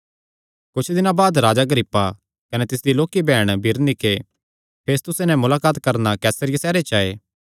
कुच्छ दिनां बाद राजा अग्रिप्पा कने तिसदी लोक्की बैहण बिरनीके फेस्तुस नैं मुलाकात करणा कैसरिया सैहरे च आये